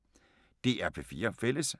DR P4 Fælles